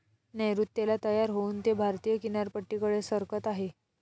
नैऋत्येला तयार होऊन ते भारतीय किनारपट्टीकडे सरकत आहे.